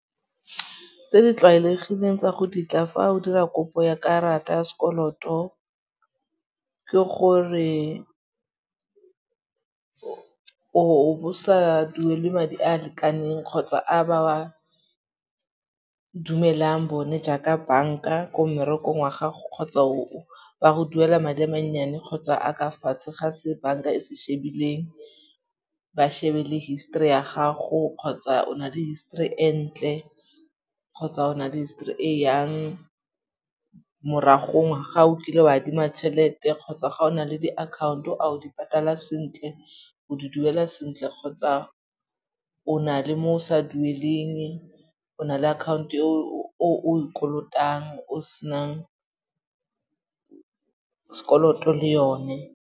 Tse di tlwaelegileng tsa go ditla fa o dira kopo ya karata ya sekoloto, ke gore o bo sa duele madi a a lekaneng kgotsa a ba wa dumelang bone jaaka banka ko mmerekong wa gago kgotsa ba go duela madi a mannyane kgotsa a ka fatshe ga se banka e se shebileng. Ba shebe le histori ya gago kgotsa o na le histori e ntle kgotsa ona le histori e jang, moragong ga o kile o adima tšhelete kgotsa ga o na le diakhaonto a o di patala sentle. O di duela sentle kgotsa o na le mo o sa dueleng, o na le account-o e o e kolotang o senang sekoloto le yone.